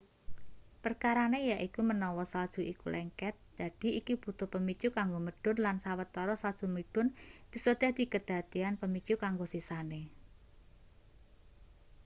perkarane yaiku menawa salju iku lengket dadi iki butuh pemicu kanggo medhun lan sawetara salju medhun bisa dadi kedadean pemicu kanggo sisane